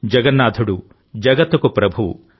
జగన్నాథుడు జగత్తుకు ప్రభువు